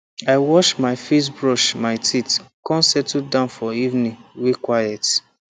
i wash my facebrush my teeth come settle down for evening way quiet